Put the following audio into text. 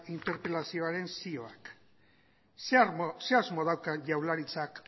interpelazioaren zioak zer asmo dauka jaurlaritzak